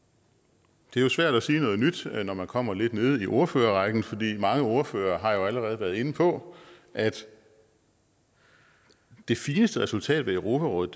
det er jo svært at sige noget nyt når man kommer lidt nede i ordførerrækken for mange ordførere har allerede været inde på at det fineste resultat af europarådet